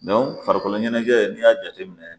farikolo ɲɛnajɛ n'i y'a jate minɛ